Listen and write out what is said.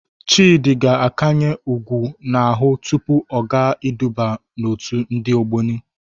Chịdị ga-akanye ọgwụ n'ahụ tupu ọ gaa iduba n'òtù ndị Ogboni.